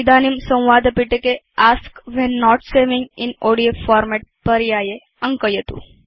इदानीं संवादपिटके ask when note saving in ODF format पर्याये अङ्कयतु